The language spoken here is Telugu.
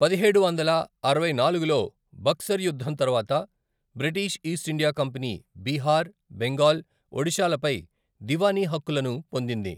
పదిహేడు వందల అరవై నాలుగులో బక్సర్ యుద్ధం తరువాత, British East India company Bihar, Bengal, ఒడిషాలపై దివానీ హక్కులను పొందింది.